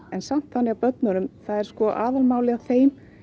en samt þannig að börnunum það er aðalmálið að þeim